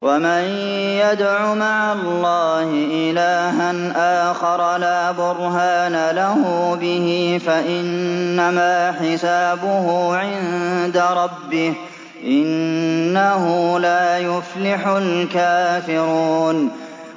وَمَن يَدْعُ مَعَ اللَّهِ إِلَٰهًا آخَرَ لَا بُرْهَانَ لَهُ بِهِ فَإِنَّمَا حِسَابُهُ عِندَ رَبِّهِ ۚ إِنَّهُ لَا يُفْلِحُ الْكَافِرُونَ